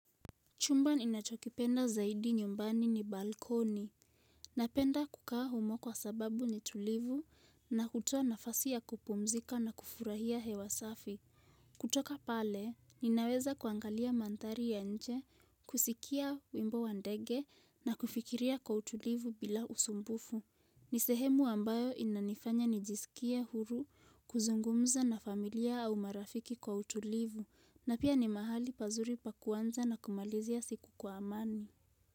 Chumba ninachokipenda zaidi nyumbani ni balkoni. Napenda kukaa humo kwa sababu ni tulivu na hutoa nafasi ya kupumzika na kufurahia hewa safi. Kutoka pale, ninaweza kuangalia mandhari ya nje, kusikia wimbo wa ndege na kufikiria kwa utulivu bila usumbufu. Nisehemu ambayo inanifanya nijisikie huru, kuzungumza na familia au marafiki kwa utulivu, na pia ni mahali pazuri pa kuanza na kumalizia siku kwa amani.